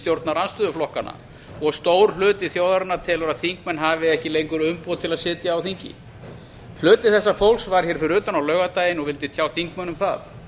stjórnarandstöðuflokkanna og stór hluti þjóðarinnar telur að þingmenn hafi ekki lengur umboð til að sitja á þingi hluti þessa fólks var fyrir utan á laugardaginn og vildi tjá þingmönnum það